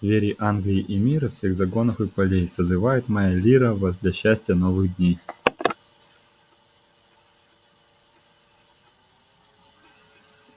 звери англии и мира всех загонов и полей созывает моя лира вас для счастья новых дней